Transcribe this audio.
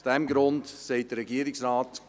Aus diesem Grund sagt der Regierungsrat: